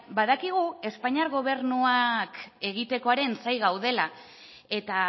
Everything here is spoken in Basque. badakigu espainiar gobernuak egitekoaren zain gaudela eta